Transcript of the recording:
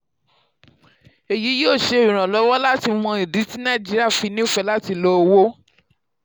èyí yóò ṣèrànlọ́wọ́ láti mọ ìdí tí nàìjíríà fi nífẹ̀ẹ́ láti lo owó.